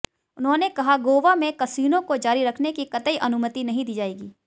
उन्होंने कहा गोवा में कसीनो को जारी रखने की कतई अनुमति नहीं दी जाएगी